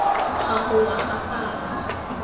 ga go wa ga palo